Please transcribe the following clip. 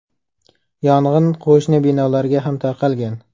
Yong‘in qo‘shni binolarga ham tarqalgan.